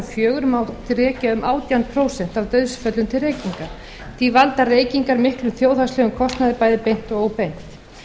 fjögur mátti rekja um átján prósent af dauðsföllum til reykinga því valda reykingar miklum þjóðhagslegum kostnaði bæði beint og óbeint